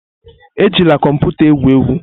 Ejila kọmputa egwu egwu!